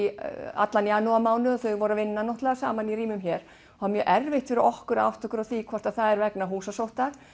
allan janúarmánuð þau voru að vinna saman í rýmum hér það er mjög erfitt fyrir okkur að átta okkur á því hvort það sé vegna húsasótta